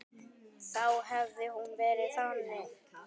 Þá hefði hún verið þannig